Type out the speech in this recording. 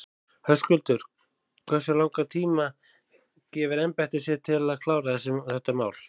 Höskuldur: Hversu langan tíma gefur embættið sér til þess að klára þetta mál?